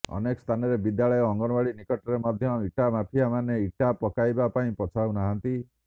ଅନେକ ସ୍ଥାନରେ ବିଦ୍ୟାଳୟ ଅଙ୍ଗନୱାଡ଼ି ନିକଟରେ ମଧ୍ୟ ଇଟା ମାଫିଆ ମାନେ ଇଟା ପକାଇବାପାଇଁ ପଛାଉନାହାନ୍ତି